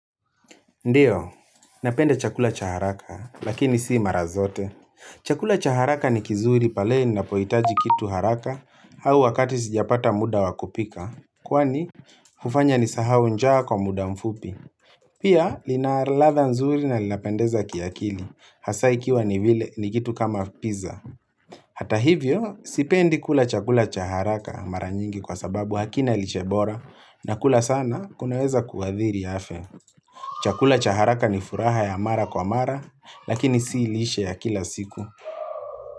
Ndiyo, napenda chakula chaharaka, lakini si marazote. Chakula chaharaka ni kizuri pale nina poitaji kitu haraka au wakati sijapata muda wakupika. Kwani, ufanya ni sahau njaa kwa muda mfupi. Pia, linaladha nzuri na linapendeza kiakili. Hasaikiwa ni vile, ni kitu kama pizza. Hata hivyo, sipendi kula chakula chaharaka maranyingi kwa sababu hakina lishe bora na kula sana kunaweza kuadhiri afya. Chakula chaharaka ni furaha ya mara kwa mara, lakini si lishe ya kila siku.